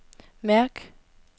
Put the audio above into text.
mærk